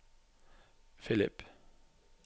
Filip